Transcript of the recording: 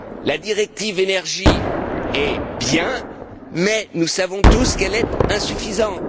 La directive sur l'énergie est bien mais nous savons tous qu'elle est insuffisante.